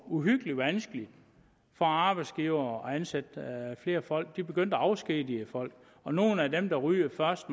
uhyggelig vanskeligt for arbejdsgivere at ansætte flere folk de begyndte at afskedige folk og nogle af dem der ryger først